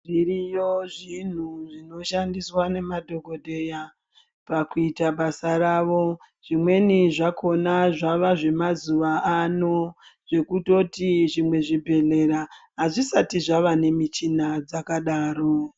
Zviriyo zvinhu zvinoshandiswa nemadhokodheya pakuita basa ravo, zvimweni zvakona zvava zvemazuva ano zvekutoti zvimwe zvibhedhlera azvisati zvava nemuchina dzakadaro.